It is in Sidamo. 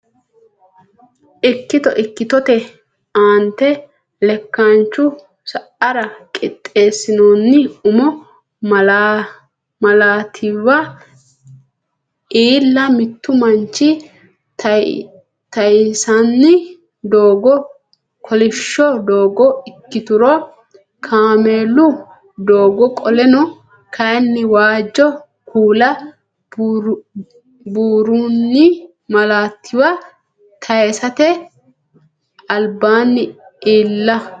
Ikkito Ikkitote Aante lekkaanchu sa ara qixxeessinoonni umo malaatiwa iilla Mittu manchi tayinsanni doogo kolishsho doogo ikkituro kaameelu doogo qoleno kayinni waajjo kuula buurronni malaatiwa tayisate albaanni iilla.